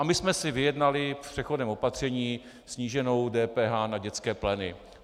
A my jsme si vyjednali v přechodném opatření sníženou DPH na dětské pleny.